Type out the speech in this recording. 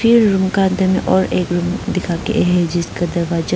ये रूम का दिन और एक रूम दिखाके है जिसका दरवाजा--